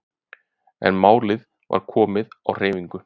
En málið var komið á hreyfingu.